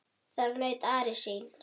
Þar naut Ari sín.